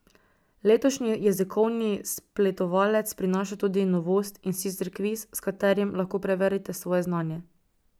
Letošnji Jezikovni spletovalec prinaša tudi novost, in sicer kviz, s katerim lahko preverite svoje znanje.